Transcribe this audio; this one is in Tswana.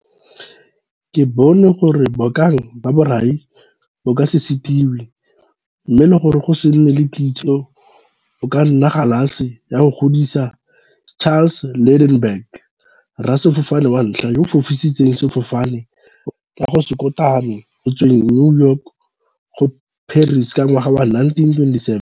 "Ke bone gore bokana ba borai bo ka se setiwe, mme le gore go se nne le kitso go ka nna galase ya go godisa" - Charles Lindbergh, rasefofane wa ntlha yo a fofisitseng sefofane ka go se kotame go tsweng New York go Paris ka ngwaga wa 1927.